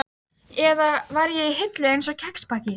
Eitt andartak fannst mér eins og hún iðaði.